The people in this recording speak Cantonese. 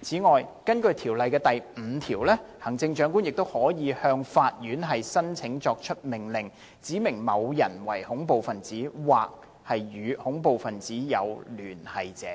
此外，根據《條例》第5條，行政長官亦可向法院申請作出命令，指明某人為恐怖分子或與恐怖分子有聯繫者，